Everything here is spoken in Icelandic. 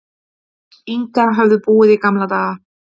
Inga höfðu búið í gamla daga.